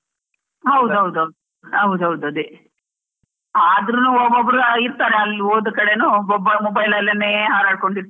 ಹೌದ್ ಹೌದು, ಹೌದ್ ಹೌದು ಅದೇ, ಆದ್ರೂನು ಒಬ್ರ್ ಒಬ್ರು ಇರ್ತಾರೆ ಅಲ್ ಹೋದ ಕಡೆನೂ ಒಬ್ಬಬ್ಬ mobile ಅಲ್ಲೇನೇ ಹಾರಾಡ್ ಕೊಂಡು ಇರ್ತಾರೆ.